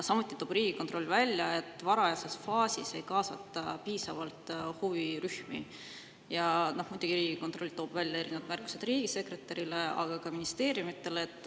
Samuti toob Riigikontroll välja, et varajases faasis ei kaasata piisavalt huvirühmi, ja muidugi toob kontroll välja erinevad märkused riigisekretärile, aga ka ministeeriumidele.